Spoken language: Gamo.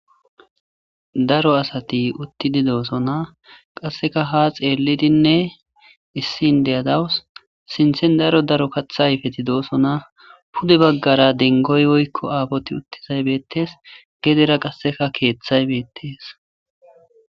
daro asati uttidi doosona qasseka ha xeellidinne issin deyadawus sinthen daro daro kathayfeti doosona pude baggara dengoy oykko aafoti uttizay beetees gedera qasseka keeththaybeettees